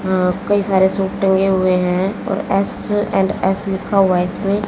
अ कई सारे सूट टंगे हुए हैं और एस एंड एस लिखा हुआ है इसमें।